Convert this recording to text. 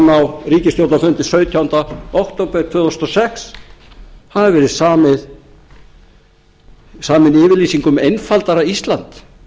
á ríkisstjórnarfundi sautjánda október tvö þúsund og sex hafi verið samin yfirlýsing um einfaldara ísland